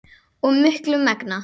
og miklu megna.